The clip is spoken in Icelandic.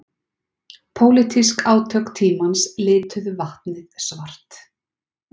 Pólitísk átök tímans lituðu vatnið svart